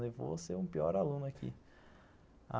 Levou a ser um pior aluno aqui.